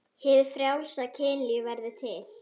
Hið frjálsa kynlíf verður til.